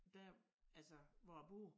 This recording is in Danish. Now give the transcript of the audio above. Der altså hvor jeg boede